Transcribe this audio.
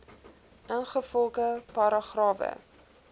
ingevolge paragrawe